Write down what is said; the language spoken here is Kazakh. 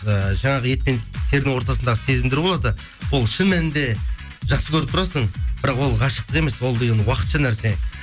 ііі жаңағы ет пен терінің ортасындағы сезімдер болады ол шын мәнінде жақсы көріп тұрасың бірақ ол ғашықтық емес ол деген уақытша нәрсе